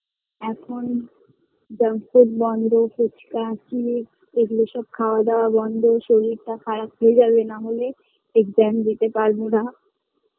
এখন junk food বন্ধ phuchka chips এইগুলো সব খাওয়া দাওয়া বন্ধ শরীরটা খারাপ হয় যাবে নাহলে exam দিতে পারবো না